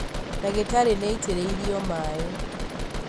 Ndagĩtarĩ nĩaitĩrĩrio maĩ